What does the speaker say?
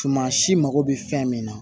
Tuma si mako bɛ fɛn min na